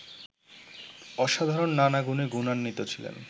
অসাধারণ নানা গুণে গুণান্বিত ছিলেন